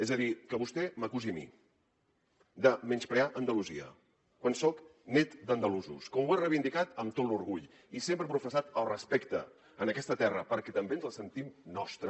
és a dir que vostè m’acusi a mi de menysprear andalusia quan soc net d’andalusos com ho he reivindicat amb tot l’orgull i sempre he professat el respecte a aquesta terra perquè també ens la sentim nostra